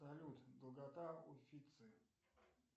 салют долгота уффици